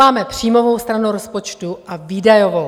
Máme příjmovou stranu rozpočtu a výdajovou.